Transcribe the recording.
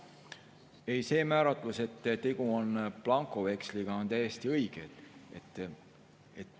Ei, see määratlus, et tegu on blankoveksliga, on täiesti õige.